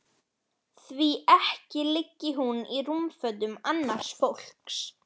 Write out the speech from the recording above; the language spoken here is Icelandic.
Því ekki liggi hún í rúmfötum annars fólks.